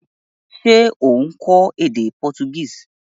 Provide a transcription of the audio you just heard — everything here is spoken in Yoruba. Se o n kó édé Portuguese?